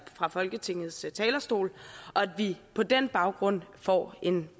fra folketingets talerstol og at vi på den baggrund får en